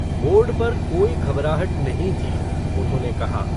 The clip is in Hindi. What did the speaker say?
बोर्ड पर कोई घबराहट नहीं थी, उन्होंने कहा।